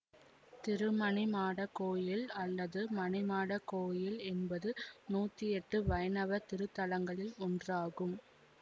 திருமணிமாடக் கோயில் அல்லது மணிமாடக் கோயில் என்பது நூத்தி எட்டு வைணவ திருத்தலங்களில் ஒன்றாகும்